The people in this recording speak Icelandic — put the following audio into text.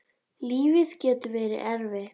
Lífið getur verið erfitt.